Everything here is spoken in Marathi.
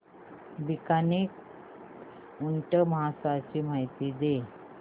बीकानेर ऊंट महोत्सवाची माहिती द्या